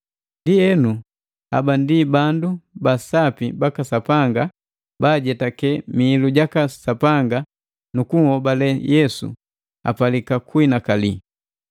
Ndienu hapa ndi bandu ba Sapi baka Sapanga baajetake miilu jaka Sapanga nu kunhobale Yesu, apalika kunhinakali.